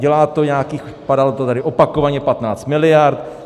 Dělá to nějakých - padalo to tady opakovaně - 15 miliard.